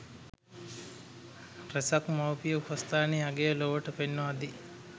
රැසක් මවුපිය උපස්ථානයේ අගය ලොවට පෙන්වා දෙයි.